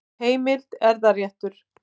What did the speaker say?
Heimild: Erfðaréttur.